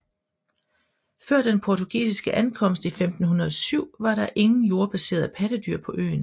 Før den portugisiske ankomst i 1507 var der ingen jordbaserede pattedyr på øen